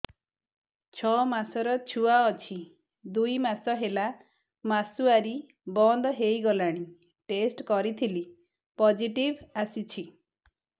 ଛଅ ମାସର ଛୁଆ ଅଛି ଦୁଇ ମାସ ହେଲା ମାସୁଆରି ବନ୍ଦ ହେଇଗଲାଣି ଟେଷ୍ଟ କରିଥିଲି ପୋଜିଟିଭ ଆସିଛି